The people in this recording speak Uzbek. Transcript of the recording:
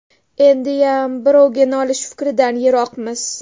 Endiyam birovga nolish fikridan yiroqmiz.